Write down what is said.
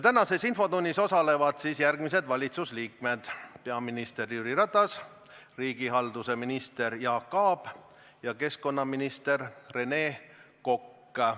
Tänases infotunnis osalevad järgmised valitsusliikmed: peaminister Jüri Ratas, riigihalduse minister Jaak Aab ja keskkonnaminister Rene Kokk.